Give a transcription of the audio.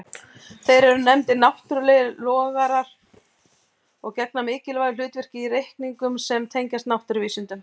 Þeir eru nefndir náttúrlegir lograr og gegna mikilvægu hlutverki í reikningum sem tengjast náttúruvísindum.